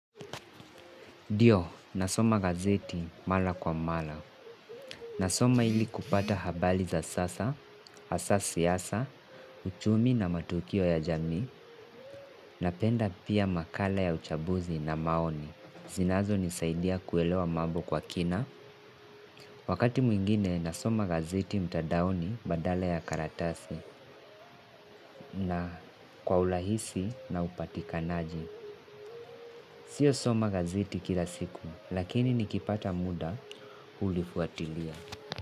Ndio, nasoma gazeti mara kwa mara. Nasoma ili kupata habari za sasa, hasa siasa, uchumi na matukio ya jami, napenda pia makala ya uchambuzi na maoni. Zinazo nisaidia kuelewa mambo kwa kina. Wakati mwingine, nasoma gazeti mtandaoni badala ya karatasi na kwa urahisi na upatikanaji. Sio soma gazeti kila siku, lakini nikipata muda ulifuatilia.